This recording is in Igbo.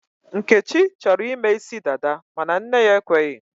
Nkechi chọrọ ịme isi dada mana nne ya ekweghị.